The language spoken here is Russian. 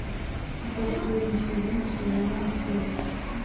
последний сезон сериала селфи